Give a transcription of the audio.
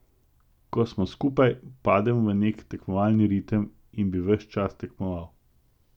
Ko smo skupaj, padem v nek tekmovalni ritem in bi ves čas tekmoval.